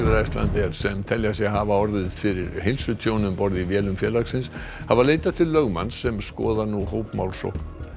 Icelandair sem telja sig hafa orðið fyrir heilsutjóni um borð í vélum félagsins hafa leitað til lögmanns sem skoðar nú hópmálsókn